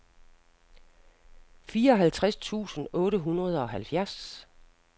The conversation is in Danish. fireoghalvtreds tusind otte hundrede og halvfjerds